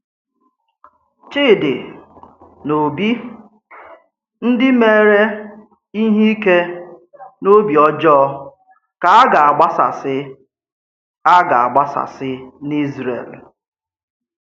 Chídì na Ọ́bì, ndí méèrè íhè ìké n’òbì ọ́jọọ, kà a gā-agbàsàsị̀ a gā-agbàsàsị̀ n’Ízrèl.